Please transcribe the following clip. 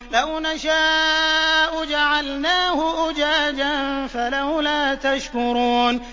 لَوْ نَشَاءُ جَعَلْنَاهُ أُجَاجًا فَلَوْلَا تَشْكُرُونَ